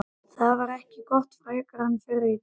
Það var ekki gott frekar en fyrri daginn.